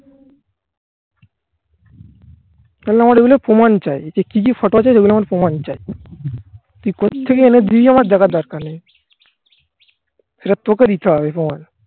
প্রমাণ চাই যে কি কি photo আছে সেগুলো আমার প্রমাণ চাই. তুই কোত্থেকে এনেছিস আমার যাবার দরকার নেই. এটা তোকে দিতে হবে